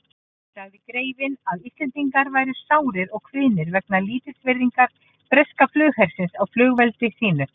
Sagði greifinn, að Íslendingar væru sárir og kvíðnir vegna lítilsvirðingar breska flughersins á fullveldi sínu.